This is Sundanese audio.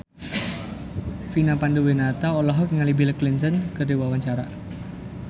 Vina Panduwinata olohok ningali Bill Clinton keur diwawancara